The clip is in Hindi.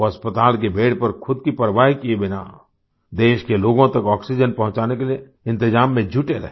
वो अस्पताल के बेद पर खुद की परवाह किए बिना देश के लोगों तक ऑक्सीजन पहुंचाने के लिए इंतजाम में जुटे रहे